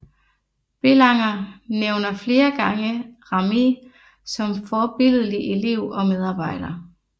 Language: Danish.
Bélanger nævner flere gange Ramée som forbilledlig elev og medarbejder